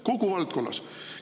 Kogu valdkonnas!